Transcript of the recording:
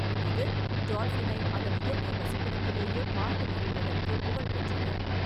இது டால்பினை அதன் இயற்கை வசிப்பிடத்திலேயே பார்த்து மகிழ்வதற்கு புகழ்பெற்றது.